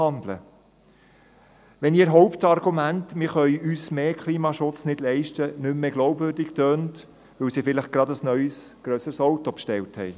Dies, wenn ihr Hauptargument, wir könnten uns mehr Klimaschutz nicht leisten, nicht mehr glaubwürdig klingt, weil sie vielleicht gerade ein neues, grösseres Auto bestellt haben.